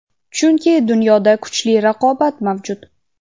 chunki dunyoda kuchli raqobat mavjud.